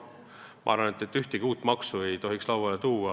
Ma arvan, et ühtegi uut maksu ei tohiks lauale tuua.